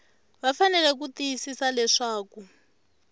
va fanele ku tiyisisa leswaku